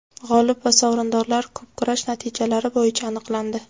G‘olib va sovrindorlar ko‘pkurash natijalari bo‘yicha aniqlandi.